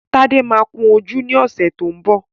Tádé máa kun ojú ní ọ̀sẹ̀ tó ń bọ̀